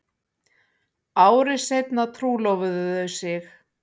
Ári seinna trúlofuðu þau sig